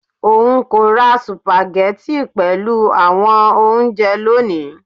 Oun ko ra sùpàgẹ́tì pelu awọn ounjẹ loni